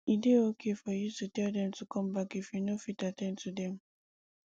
e dey okay for you to tell them to come back if you no fit at ten d to them